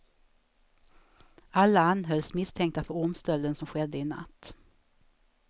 Alla anhölls, misstänkta för ormstölden som skedde i natt.